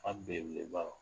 Aw bɛn bɛn bawo